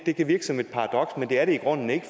det kan virke som et paradoks men det er det i grunden ikke